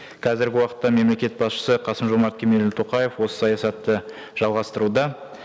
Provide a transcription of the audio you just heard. қазіргі уақытта мемлекет басшысы қасым жомарт кемелұлы тоқаев осы саясатты жалғастыруда